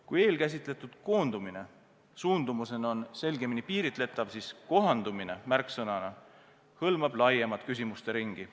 Kui eelkäsitletud koondumine suundumusena on selgemini piiritletav, siis kohandumine märksõnana hõlmab laiemat küsimusteringi.